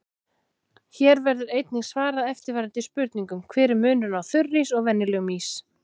Hér verður einnig svarað eftirfarandi spurningum: Hver er munurinn á þurrís og venjulegum ís?